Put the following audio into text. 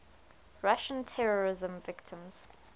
russian terrorism victims